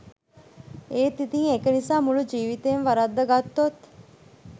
එත් ඉතින් එක නිසා මුළු ජීවිතේම වරද්දගත්තොත්